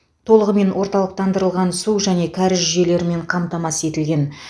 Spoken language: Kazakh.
толығымен орталықтандырылған су және кәріз жүйелерімен қамтамасыз етілген